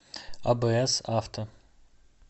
абс авто